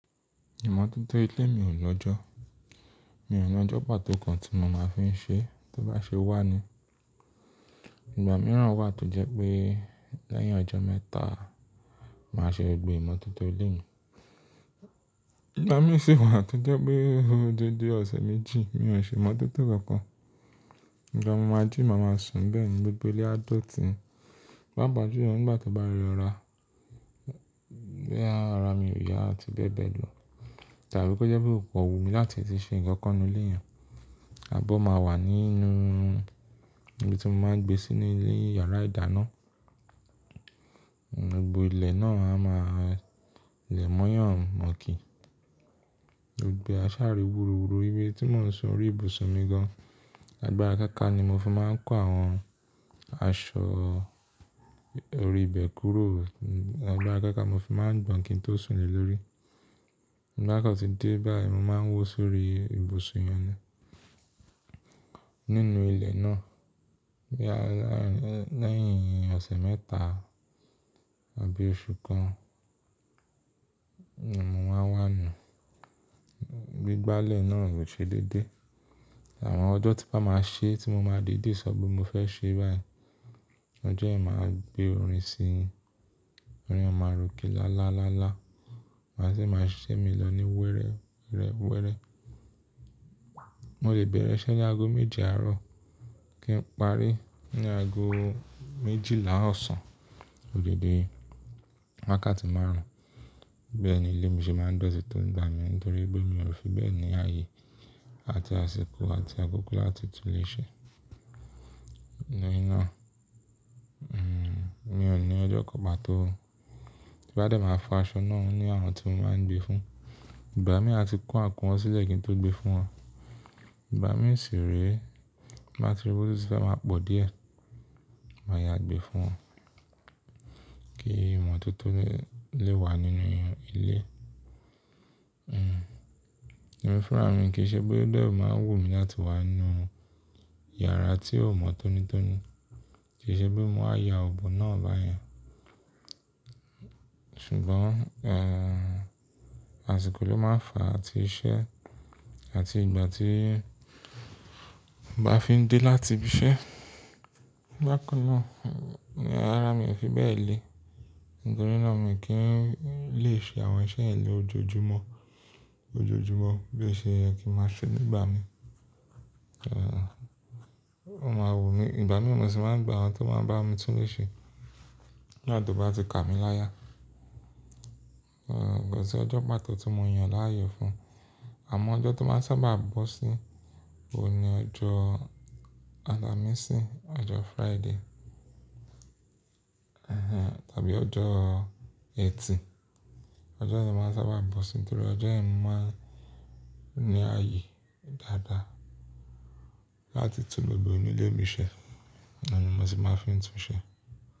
Ìmọ́tótó ilé mi ò ní ọjọ́, mi ò ní ọjọ́ pàtó kan tí mo máa fi ń ṣe tí ó bá ṣe wà ni. Ìgbà mìíràn wà tó jẹ́ pé lẹ́yìn ọjọ́ mẹ́ta màá ṣe gbé ìmọ́tótó le ìlú. Ìgbà mìíràn sì wà tó jẹ́ pé gbogbo ọ̀sẹ̀ méjì mi ò ṣe ìmọ́tótó kankan. Ìgbà mo máa jí, màá máa sun bẹ́ẹ̀ ní gbogbo ilé adóti. Páàpà jú lọ́ nígbà tó bá rẹ ara, bí ara mi ò yá àti bẹ̀bẹ̀ lo. Tàbi pé ó jẹ́ bí ò pọ̀ wù mí láti ti ṣe nǹkan kan nínú ilé yẹn. Abọ́ máa wà nínú ibi tí mo máa ń gbé sínú ilé yàrá ìdáná. Gbogbo ilẹ̀ náà a máa a lè mọ́yàn mọ̀ kí. Gbigbe aṣáà rí wúru wúru, ibi tí mò ń sun orí ibùsùn mi gan. Àgbára káká ni mo fi máa ń kó àwọn aṣọ orí ibẹ̀ kúrò. Àgbára káká mo fi máa ń gbọn kín tó sùn lé lórí. Nígbà tí mọ́ bá ti dé báyìí, mo máa wọ̀ sórí ibùsùn yẹn nínú ilẹ̀ náà. Boya lẹ́yìn ọ̀sẹ̀ mẹ́ta tàbí oṣù kan, mo máa wà nù. Gbigbálẹ̀ náà ò ṣe déédé. Àwọn ọjọ́ tí bá máa ṣe tí mo máa dídè sọ pé mo fẹ́ ṣe báyìí, ọjọ́ yìí máa gbé orin sí orí ọmọ àrọkọ lálálálá. Wọn sì máa ṣẹ́ mi lọ ní wẹ́rẹ́ wẹ́rẹ́. Mọ lè bẹ̀rẹ̀ iṣẹ́ ní ago méje àárọ̀ kí n parí ní ago méjìlá ọ̀sán òdèdé wákàtí márùn-ún. Bẹ́ẹ̀ ni ilé mi ṣe máa ń dọ̀tí tó ń gbà mí nítorí pé mi ò rò fi bẹ́ẹ̀ ní ààyè àti àsìkò àti agbókùú láti tunlé ṣe nínú iná. Hmm, mi ò ní ọjọ́ kan pàtó tí bá dẹ̀ máa fọ aṣọ náà ní àwon tí mo máa ń gbé fún. Ìgbà mìíràn tí kó àǹkóò wọn sílẹ̀ kí n tó gbé fún wọn. Ìgbà mìíràn sì re i bá ti rí bó tí ṣe bá máa pọ̀ díẹ̀, màá yà gbé fún wọn kí ìmọ́tótó lè wà nínú ilé. Hmm, èmi fúnra mi kì í ṣe pé ó dẹ̀ máa wù mí láti wá nu yàrá tí ò mọ́tónítóní. Kì í ṣe pé mo máa ya òbò náà báyìí. Ṣùgbọ́n, eh, àsìkò ló máa ń fa àti iṣẹ́ àti ìgbà tí bá fi ń dé láti ibi iṣẹ́. Nígbà kan náà, ara mi ò fi bẹ́ẹ̀ lé nítorí náà mi kí n lè ṣe àwọn iṣẹ́ ẹ ní ojoojúmọ́ ojoojúmọ́ bí o ṣe ye kí máa ṣe nígbà mí. Eh, ó máa wù mí, ìgbà mìíràn sì máa ń gba àwọn tí ó máa ń bá mi túnlé ṣe nígbà tó bá ti kà mí láyà. Eh, kọ̀sì ọjọ́ pàtó tí mo yàn láàyò fún. Àmọ́ ọjọ́ tó máa ń sábà bọ̀ sí òun ni ọjọ́ àlàmísì, ọjọ́ Friday. Ehen, tàbí ọjọ́ Ẹtì. Ọjọ́ ni ó máa ń sábà bọ̀ sí nítorí ọjọ́ yìí mo máa ń ní ààyè dáadáa láti tun gbogbo ínú ilé mi ṣe oun ní mo sì máa ń fi tún ṣe.